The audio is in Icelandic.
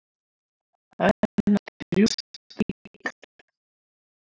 Hönd hennar strjúkast um líkamann.